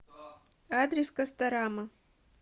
адрес касторама